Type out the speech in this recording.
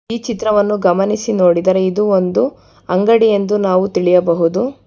ಈ ಚಿತ್ರವನ್ನು ಗಮನಿಸಿ ನೋಡಿದರೆ ಇದು ಒಂದು ಅಂಗಡಿಯೆಂದು ನಾವು ತಿಳಿಯಬಹುದು.